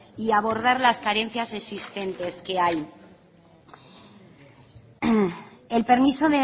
y abordar las carencias existentes que hay el permiso